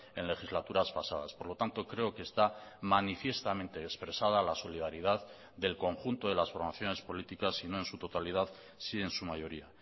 en legislaturas pasadas por lo tanto creo que está manifiestamente expresada la solidaridad del conjunto de las formaciones políticas si no en su totalidad sí en su mayoría